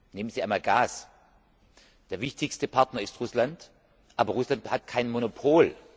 Nehmen Sie einmal Gas Der wichtigste Partner ist Russland, aber Russland hat kein Monopol.